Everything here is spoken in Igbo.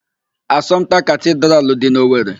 Asọmpta Katidralụ dị n'Owere.